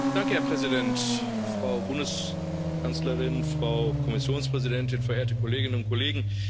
Herr Präsident, Frau Bundeskanzlerin, Frau Kommissionspräsidentin, verehrte Kolleginnen und Kollegen!